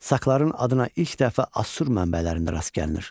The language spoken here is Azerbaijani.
Sakların adına ilk dəfə Assur mənbələrində rast gəlinir.